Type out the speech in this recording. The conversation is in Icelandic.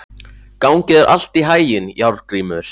Gangi þér allt í haginn, Járngrímur.